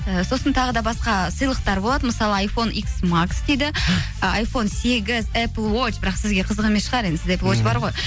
і сосын тағы да басқа сыйлықтар болады мысалы айфон икс макс дейді ы айфон сегіз эпл уоч бірақ сізге қызық емес шығар енді сізде бар ғой